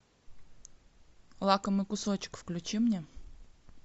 лакомый кусочек включи мне